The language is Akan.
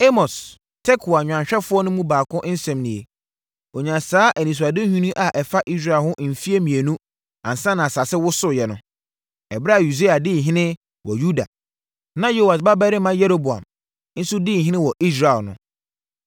Amos, Tekoa nnwanhwɛfoɔ no mu baako nsɛm nie. Ɔnyaa saa anisoadehunu yi a ɛfa Israel ho mfeɛ mmienu ansa na asase wosooɛ no, ɛberɛ a Usia di ɔhene wɔ Yuda na Yoas babarima Yeroboam nso di ɔhene wɔ Israel no.